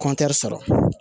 sɔrɔ